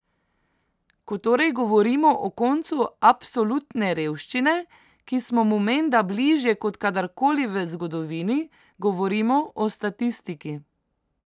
Ko torej govorimo o koncu absolutne revščine, ki smo mu menda bližje, kot kadarkoli v zgodovini, govorimo o statistiki.